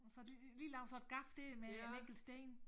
Så har de lige lavet sådan et gaf dér med en enkelt sten